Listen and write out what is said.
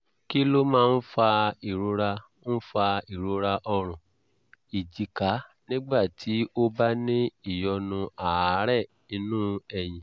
kí ló máa ń fa ìrora ń fa ìrora ọrùn ìjìká nígbà tí o bá ní ìyọnu àárẹ̀ inú ẹ̀yìn?